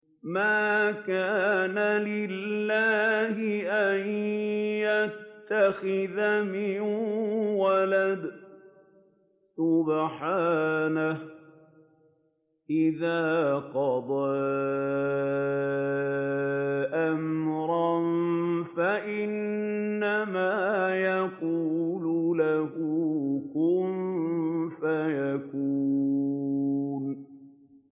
مَا كَانَ لِلَّهِ أَن يَتَّخِذَ مِن وَلَدٍ ۖ سُبْحَانَهُ ۚ إِذَا قَضَىٰ أَمْرًا فَإِنَّمَا يَقُولُ لَهُ كُن فَيَكُونُ